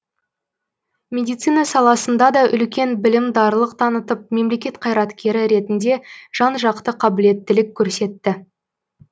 медицина саласында да үлкен білімдарлық танытып мемлекет қайраткері ретінде жан жақты қабілеттілік көрсетті